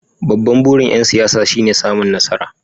Babban burin ‘yan siyasa shine samun nasara.